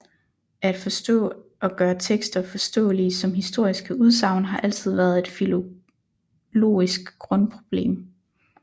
At forstå og gøre tekster forståelige som historiske udsagn har altid været et filologisk grundproblem